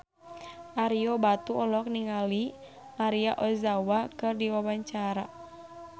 Ario Batu olohok ningali Maria Ozawa keur diwawancara